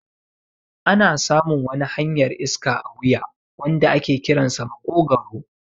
Ana samun wani hanyar iska a wuya wanda ake kiransa maƙogwaro